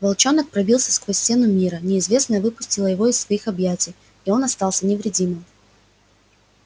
волчонок пробился сквозь стену мира неизвестное выпустило его из своих объятий и он остался невредимым